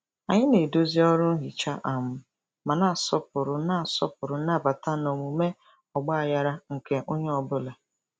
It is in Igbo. Anyị na-edozi ọrụ nhicha um ma na-asọpụrụ na-asọpụrụ nnabata na omume ọgbaghara nke onye ọ bụla.